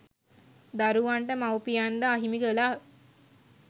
දරුවන්ට මවුපියන් ද අහිමි කළා.